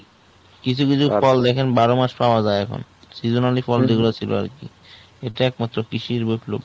কিছু কিছু ফল দেখেন বারো মাস পাওয়া যাই এখন seasonally যে গুলা ছিল আরকি। এটা এক মাত্র কৃষির বিপ্লব।